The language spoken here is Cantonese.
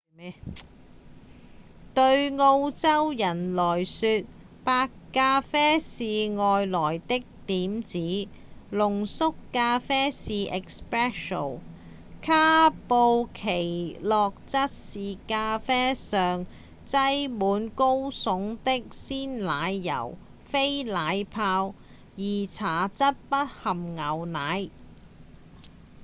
對澳洲人來說「白咖啡」是外來的點子濃縮咖啡是「espresso」卡布奇諾則是咖啡上擠滿高聳的鮮奶油非奶泡而茶則不含牛奶